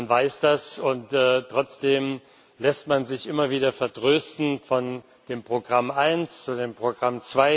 Man weiß das, und trotzdem lässt man sich immer wieder vertrösten von dem Programm 1, dem Programm